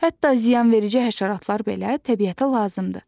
Hətta ziyanverici həşəratlar belə təbiətə lazımdır.